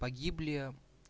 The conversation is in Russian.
погибли